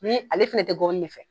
ale fɛnɛ tɛ gɔbɔnin ne fɛ.